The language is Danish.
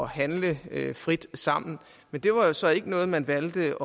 handle frit sammen men det var så ikke noget man valgte